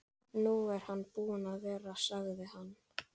Nú er hann búinn að vera, sagði hann.